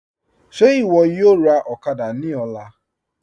Ṣe iwọ yọ̀ọ́ rá òkàdà ní ọ̀là?